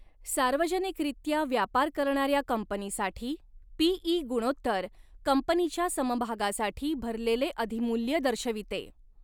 सार्वजनिकरित्या व्यापार करणाऱ्या कंपनीसाठी, पी.ई. गुणोत्तर कंपनीच्या समभागासाठी भरलेले अधिमूल्य दर्शविते.